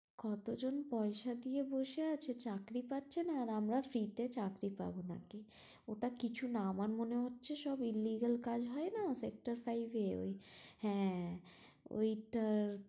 কতজন পয়সা দিয়ে বসে আছে চাকরি পাচ্ছে না আর আমরা free তে চাকরি নাকি, ওটা কিছু না এ আমার মনে হচ্ছে সব illegal কাজ হয়না sector five এ ওই হ্যাঁ, ওই টার